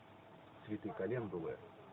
цветы календулы